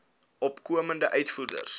opkomende uitvoerders